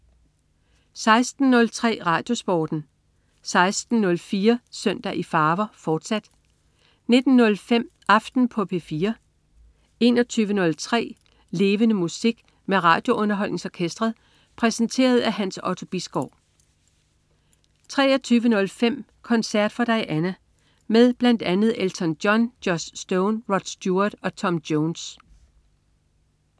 16.03 RadioSporten 16.04 Søndag i farver, fortsat 19.05 Aften på P4 21.03 Levende Musik. Med RadioUnderholdningsOrkestret. Præsenteret af Hans Otto Bisgaard 23.05 Concert For Diana. Med bl.a. Elton John, Joss Stone, Rod Stewart og Tom Jones